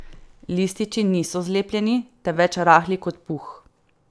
Lističi niso zlepljeni, temveč rahli kot puh.